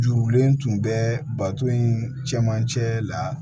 Jurulen tun bɛ bato in cɛmancɛ la